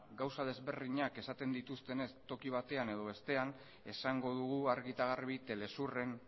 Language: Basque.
gauza ezberdinak esaten dituztenez toki batean edo bestean esango dugu argi eta garbi telesurren